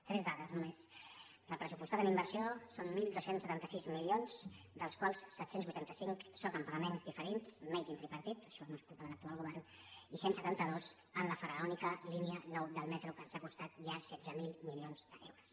tres dades només del pressuposat en inversió són dotze setanta sis milions dels quals set cents i vuitanta cinc són en pagaments diferits made in tripartit això no és culpa de l’actual govern i cent i setanta dos en la faraònica línia nou del metro que ens ha costat ja setze mil milions d’euros